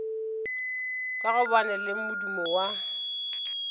ka gobane le modumo wa